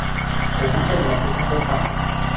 ho bokella le ho kopanya